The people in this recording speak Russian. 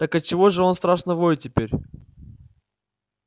так отчего же он страшно воет теперь